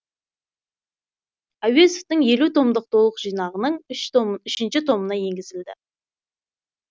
әуезовтің елу томдық толық жинағының үшінші томына енгізілді